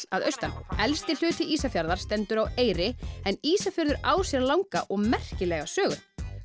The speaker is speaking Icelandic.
að austan elsti hluti Ísafjarðar stendur á Eyri en Ísafjörður á sér langa og merkilega sögu